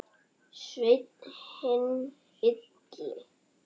Sveinn hinn illi.